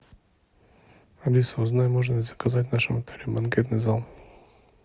алиса узнай можно ли заказать в нашем отеле банкетный зал